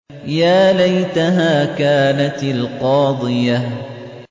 يَا لَيْتَهَا كَانَتِ الْقَاضِيَةَ